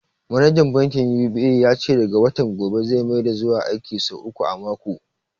Manajan bankin UBA ya ce daga watan gobe zai maida zuwa aiki sau uku a mako.